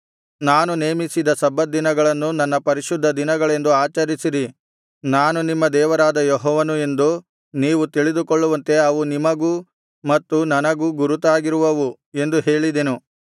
ನಾನು ನೇಮಿಸಿದ ಸಬ್ಬತ್ ದಿನಗಳನ್ನು ನನ್ನ ಪರಿಶುದ್ಧ ದಿನಗಳೆಂದು ಆಚರಿಸಿರಿ ನಾನು ನಿಮ್ಮ ದೇವರಾದ ಯೆಹೋವನು ಎಂದು ನೀವು ತಿಳಿದುಕೊಳ್ಳುವಂತೆ ಅವು ನಿಮಗೂ ಮತ್ತು ನನಗೂ ಗುರುತಾಗಿರುವುವು ಎಂದು ಹೇಳಿದೆನು